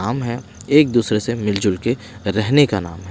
हम है एक दूसरे से मिलजुलके रहने का नाम है।